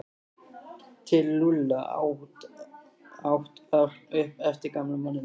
Til Lúlla? át Örn upp eftir gamla manninum.